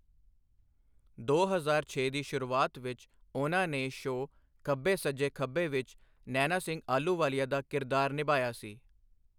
ਦੋ ਹਜ਼ਾਰ ਛੇ ਦੀ ਸ਼ੁਰੂਆਤ ਵਿੱਚ ਉਹਨਾਂ ਨੇ ਸ਼ੋਅ ਖੱਬੇ ਸੱਜੇ ਖੱਬੇ ਵਿੱਚ ਨੈਨਾ ਸਿੰਘ ਆਹਲੂਵਾਲੀਆ ਦਾ ਕਿਰਦਾਰ ਨਿਭਾਇਆ ਸੀ।